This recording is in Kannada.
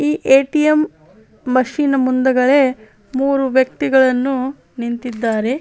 ಈ ಎ.ಟಿ.ಎಂ ಮಷೀನ್ ಮುಂದುಗಡೆ ಮೂರೂ ವೆಕ್ತಿಗಳನ್ನು ನಿಂತಿದಾತರೇ .